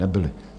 Nebyly.